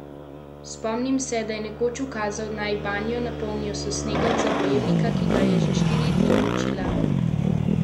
Spomnim se, da je nekoč ukazal, naj banjo napolnijo s snegom za bojevnika, ki ga je že štiri dni mučila huda vročina.